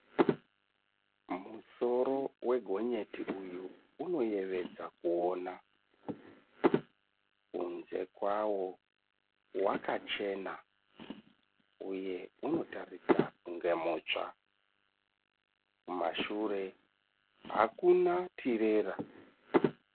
Musoro wegonyeti uyu unoyevedza kuona . Kunze kwawo wakachena uye unotaridza kunge mutsva . Kumashure hakuna tirera.